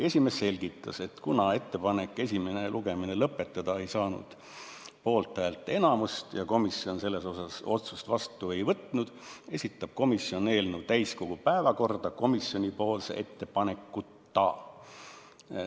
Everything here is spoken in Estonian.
Esimees selgitas, et kuna ettepanek esimene lugemine lõpetada ei saanud poolthäälte enamust ja komisjon selles asjas otsust vastu ei võtnud, esitab komisjon eelnõu täiskogu päevakorda komisjoni ettepanekuta.